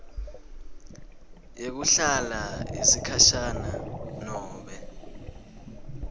yekuhlala yesikhashana nobe